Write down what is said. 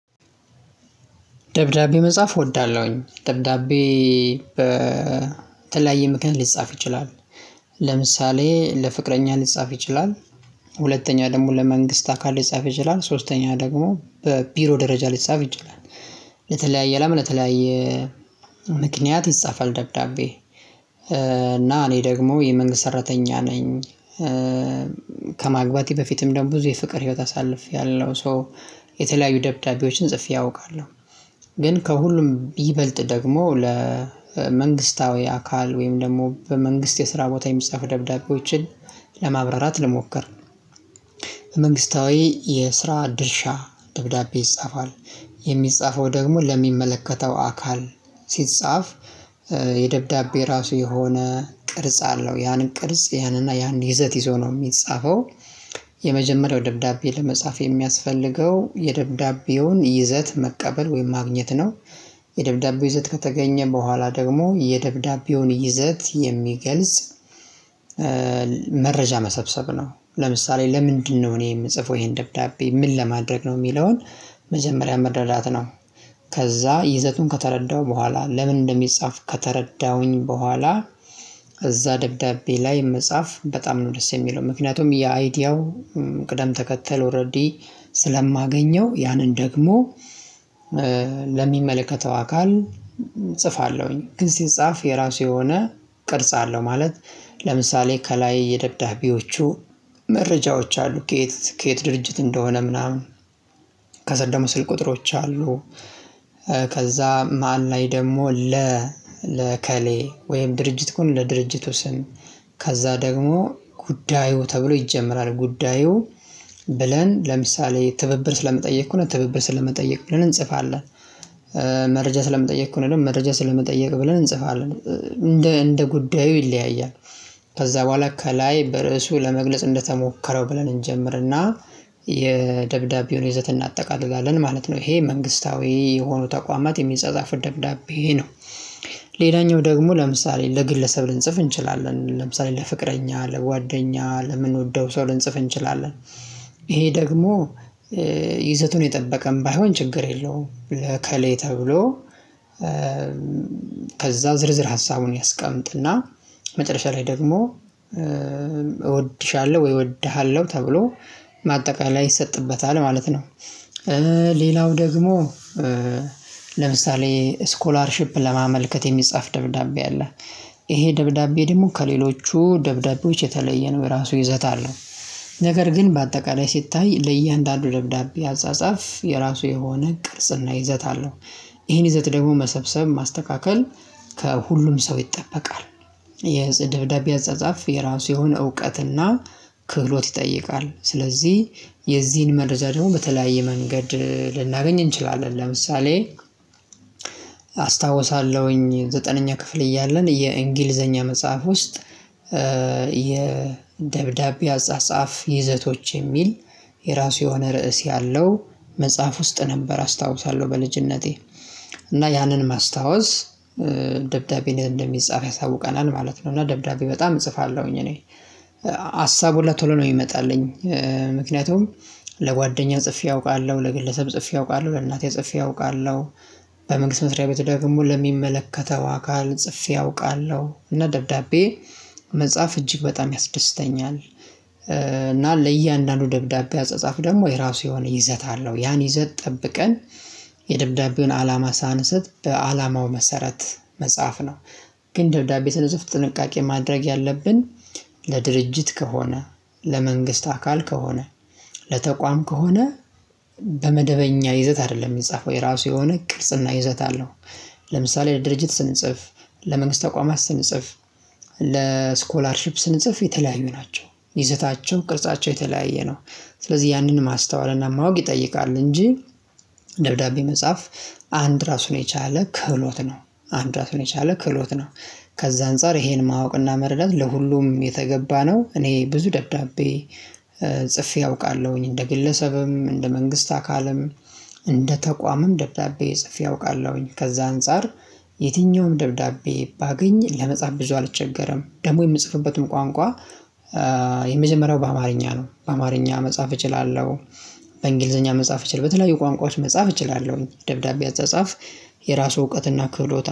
ደብዳቤ መጻፍ እወዳለሁኝ። ደብዳቤ በተለያየ ምክንያት ሊጻፍ ይችላል። ለምሳሌ ለፍቅረኛ ሊጻፍ ይችላል። ሁለተኛ ደግሞ ለመንግስት አካል ሊጻፍ ይችላል። ሶስተኛ ደግሞ በቢሮ ደረጃ ሊጻፍ ይችላል። ለተለያየ ለተለያየ ምክንያት ይጻፋል። ደብዳቤ እና እኔ ደግሞ የመንግስት ሰራተኛ። ነኝ በፊትም ደግሞ ብዙ የፍቅር ህይወት አሳልፌያለሁ ሶ የተለያዩ ደብዳቤዎችን ጽፌ አውቃለሁ። ግን ከሁሉም ይበልጥ ደግሞ ለመንግስታዊ አካል ወይም ደግሞ በመንግስት የስራ ቦታ የሚጻፍ ደብዳቤዎችን ለማብራራት ልሞክር። መንግስታዊ የስራ ድርሻ ደብዳቤ ይጻፋል። የሚጻፈው ደግሞ ለሚመለከተው አካል ሲጻፍ የደብዳቤ ራሱ የሆነ ቅርጽ አለው ያንን ቅርጽ ይህን እና ያንን ይዘት ይዞ ነው የሚጻፈው። የመጀመሪያው ደብዳቤ ለመጻፍ የሚያስፈልገው የደብዳቤውን ይዘት መቀበል ወይም ማግኘት ነው። የደብዳቤው ይዘት ከተገኘ በኋላ ደግሞ የደብዳቤውን ይዘት የሚገልጽ መረጃ መሰብሰብ ነው። ለምሳሌ ለምንድነው እኔ የምጽፈው ይሄን ደብዳቤ ምን ለማድረግ ነው የሚለውን? መጀመሪያ መረዳት ነው። ከዛ ይዘቱን ከተረዳው በኋላ ለምን እንደሚጻፍ ከተረዳሁኝ በኋላ። እዛ ደብዳቤ ላይ መጻፍ በጣም ነው ደስ የሚለው ምክንያቱም የአይዲያው ቅደም ተከተል ኦሬዲ ስለማገኘው ያንን ደግሞ ለሚመለከተው አካል እጽፋለሁኝ። ግን ሲጻፍ የራሱ የሆነ ቅርጽ አለው። ማለት ለምሳሌ ከላይ የደብዳቤዎቹ መረጃዎች አሉ ከየት ከየት ድርጅት እንደሆነ ምናምን ከስር ደግሞ ስልክ ቁጥሮች አሉ። ከዛ ማን ላይ ደግሞ ለ ለእከሌ ወይም ድርጅት ከሆነ ለድርጅቱ ስም። ከዛ ደግሞ ጉዳዩ ተብሎ ይጀመራል ጉዳዩ ብለን ለምሳሌ ትብብር ስለመጠየቅ እኮ ነው ትብብር ስለመጠየቅ ብለን እንጽፋለን። መረጃ ስለምጠየቅ ከሆነ ደግሞ መረጃ ስለምጠየቅ ብለን እንጽፋለን እንደ እንደ ጉዳዩ ይለያያል። ከዛ በኋላ ከላይ በርእሱ ለመግለጽ እንደተሞከረው ብለን እንጀምርና የደብዳቤውን ይዘት እናጠቃልጋለን ማለት ነው። ይሄ መንግስታዊ የሆኑ ተቋማት የሚፃፃፉት ደብዳቤ ነው። ሌላኛው ደግሞ ለምሳሌ ለግለሰብ ልንጽፍ እንችላለን ለምሳሌ ለፍቅረኛ ለጓደኛ ለምንወደው ሰው ልንጽፍ እንችላለን። ይሄ ደግሞ ይዘቱን የጠበቀም ባይሆን ችግር የለውም። ለእከሌ ተብሎ ከዛ ዝርዝር ሀሳቡን ያስቀምጥና መጨረሻ ላይ ደግሞ እወድሻለሁ ወይ እወድሃለሁ ተብሎ ማጠቃለያ ይሰጥበታል ማለት ነው። ሌላው ደግሞ ለምሳሌ ስኮላርሺፕ ለማመልከት የሚጻፍ ደብዳቤ አለ። ይሄ ደብዳቤ ደግሞ ከሌሎቹ ደብዳቤዎች የተለየ ነው የራሱ ይዘት አለው። ነገር ግን በአጠቃላይ ሲታይ ለእያንዳንዱ ደብዳቤ አጻጻፍ የራሱ የሆነ ቅርጽና ይዘት አለው። ይሄን ይዘት ደግሞ መሰብሰብ ማስተካከል ከሁሉም ሰው ይጠበቃል። የደብዳቤ አጻጻፍ የራሱ የሆነ እውቀትና ክህሎት ይጠይቃል። ስለዚህ የዚህን መረጃ ደግሞ በተለያየ መንገድ ልናገኝ እንችላለን ለምሳሌ። አስታውሳለሁኝ ዘጠነኛ ክፍል እያለን የእንግሊዘኛ መጽሐፍ ውስጥ የደብዳቤ አጻጻፍ ይዘቶች የሚል የራሱ የሆነ ርዕስ ያለው መጽሐፍ ውስጥ ነበር አስታውሳለሁ በልጅነቴ እና ያንን ማስታወስ ደብዳቤን እንደሚጻፍ ያሳውቀናል ማለት ነው። እና ደብዳቤ በጣም እጽፋለሁኝ እኔ ሀሳቡሀላ ቶሎ ነው የሚመጣልኝ። ምክንያቱም ለጓደኛ ጽፌ አውቃለሁ ለግለሰብ ጽፌ አውቃለሁ ለእናቴ ጽፌ አውቃለሁ። በመንግስት መስሪያ ቤት ደግሞ ለሚመለከተው አካል ጽፌ አውቃለሁ እና ደብዳቤ መጽሐፍ እጅግ በጣም ያስደስተኛል። እና ለእያንዳንዱ ደብዳቤ አጻጻፍ ደግሞ የራሱ የሆነ ይዘት አለው ያን ይዘት ጠብቀን የደብዳቤውን አላማ ሳንስት በአላማው መሰረት መጽሐፍ ነው። ግን ደብዳቤ ስንጽፍ ጥንቃቄ ማድረግ ያለብን። ለድርጅት ከሆነ ለመንግስት አካል ከሆነ ለተቋም ከሆነ በመደበኛ ይዘት አይደለም የሚጻፈው የራሱ የሆነ ቅርጽና ይዘት አለው። ለምሳሌ ለድርጅት ስንጽፍ ለመንግስት ተቋማት ስንጽፍ ለስኮላርሺፕ ስንጽፍ የተለያዩ ናቸው ይዘታቸው ቅርጻቸው የተለያየ ነው። ስለዚህ ያንን ማስተዋልና ማወቅ ይጠይቃል እንጂ። ደብዳቤ መጻፍ አንድ ራሱን የቻለ ክህሎት ነው አንድ ራሱን የቻለ ክህሎት ነው። ከዛ አንፃር ይሄን ማወቅና መረዳት ለሁሉም የተገባ ነው። እኔ ብዙ ደብዳቤ ጽፌ አውቃለሁኝ እንደ ግለሰብም እንደ መንግስት አካልም እንደ ተቋምም ደብዳቤ ጽፌ አውቃለሁኝ። ከዛ አንፃር የትኛውም ደብዳቤ ባገኝ ለመጻፍ ብዙ አልቸገረም። ደግሞ የምጽፍበትም ቋንቋ የመጀመሪያው በአማርኛ ነው በአማርኛ መጻፍ እችላለሁ። በእንግሊዘኛ መጻፍ እችላለሁ በተለያዩ ቋንቋዎች መጻፍ እችላለሁ። ደብዳቤ አታጻፍ የራሱ እውቀትና ክፍሎት